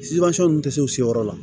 ninnu tɛ se u seyɔrɔ la